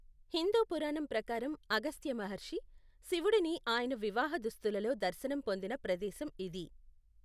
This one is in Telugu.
హిందూ పురాణం ప్రకారం, అగస్త్య మహర్షి, శివుడిని ఆయన వివాహ దుస్తులలో దర్శనం పొందిన ప్రదేశం ఇది.